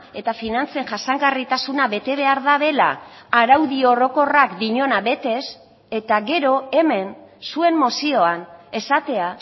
eta finantzen jasangarritasuna betebehar dutela araudi orokorrak diona betez eta gero hemen zuen mozioan esatea